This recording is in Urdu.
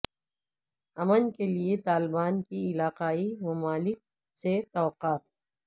امن کے لیے طالبان کی علاقائی ممالک سے توقعات